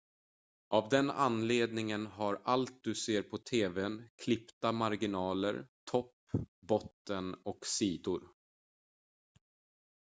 av den anledningen har allt du ser på tv:n klippta marginaler topp botten och sidor